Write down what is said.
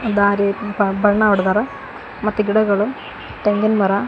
ದಾರಿಯಲ್ಲಿ ಬ ಬಣ್ಣ ಹೊಡ್ದಾರ ಮತ್ತೆ ಗಿಡಗಳು ತೆಂಗಿನ್ ಮರ--